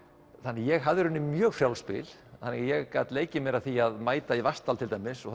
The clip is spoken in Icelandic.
ég hafði í raun mjög frjálst spil þannig að ég gat leikið mér að því að mæta í Vatnsdal til dæmis og